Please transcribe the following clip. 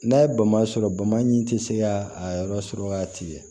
N'a ye bama sɔrɔ bama in tɛ se ka a yɔrɔ sɔrɔ waati ye